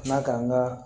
Na k'an ka